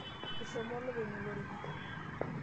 Eshomo olopeny olorika.